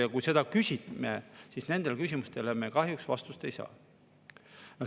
Ja kui me selle kohta küsime, siis nendele küsimustele me kahjuks vastust ei saa.